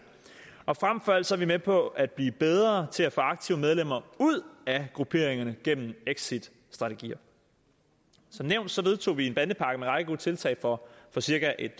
og frem for alt er vi med på at blive bedre til at få aktive medlemmer ud af grupperingerne gennem exitstrategier som nævnt vedtog vi en bandepakke med en række gode tiltag for cirka et